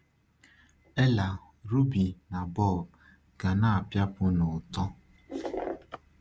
Ella, Ruby, na Bob ga na-apịapụ n’ụtọ.